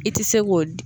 I tɛ se k'o